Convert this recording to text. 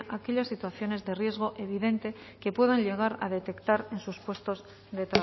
aquellas situaciones de riesgo evidente que puedan llegar a detectar en sus puestos de